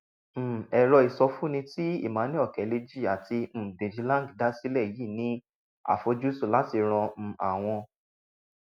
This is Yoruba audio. um ẹrọ ìsọfúnni tí emmanuel okeleji àti um deji lang dá sílè yìí ní àfojúsùn láti ran um àwọn